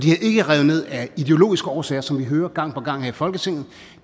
er ikke revet ned af ideologiske årsager som vi hører gang på gang her i folketinget